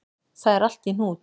Það er allt í hnút